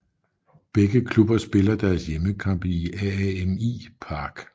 Begge klubber spiller deres hjemmekampe i AAMI Park